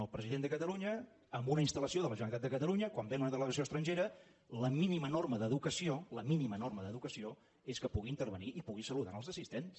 el president de catalunya en una installació de la generalitat de catalunya quan ve una delegació estrangera la mínima norma d’educació la mínima norma d’educació és que pugui intervenir i pugui saludar els assistents